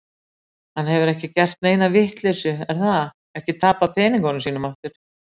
Hann hefur ekki gert neina vitleysu, er það, ekki tapað peningunum sínum aftur?